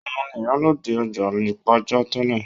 Òun ni ìyálọ́jà ọjà Ìpàjá tẹ́lẹ̀